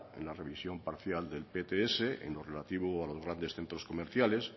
en la revisión parcial del pts en lo relativo a los grandes centros comerciales